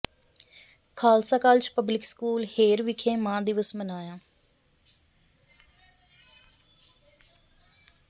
Khalsa college public school Hher ਵਿਖੇ ਮਾਂ ਦਿਵਸ ਮਨਾਇਆ